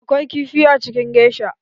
Akwai kifi a cikin gesha.